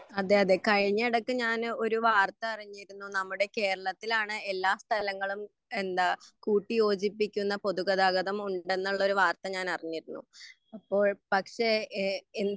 അതെ അതെ കഴിഞ്ഞ എടക്ക് ഞാൻ ഒരു വാർത്ത അറിഞ്ഞിരുന്നു നമ്മുടെ കേരളത്തിലാണ് എല്ലാ സ്ഥലങ്ങളും എന്താ കൂട്ടിയോജിപ്പിക്കുന്ന പൊതുഗതാഗതംമുണ്ടെന്നുള്ള ഒരു വാർത്ത ഞാൻ അറിഞ്ഞിരുന്നു അപ്പോൾ പക്ഷെ ഏ എൻ